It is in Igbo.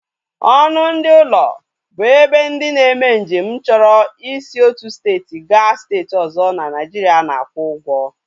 Ọnụ ndị ụlọ bụ ebe ndị na-eme nje m chọrọ i si otu steeti ga steeti ọzọ n'Naijiria na-akwụ ugwo